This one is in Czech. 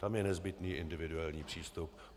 Tam je nezbytný individuální přístup.